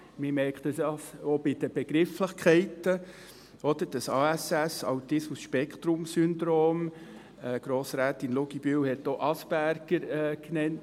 Man merkt das auch an den Begrifflichkeiten: das ASS, dieses Autismus-Spektrum-Syndrom, Grossrätin Luginbühl hat auch Asperger genannt;